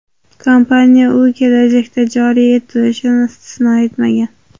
Kompaniya u kelajakda joriy etilishini istisno etmagan.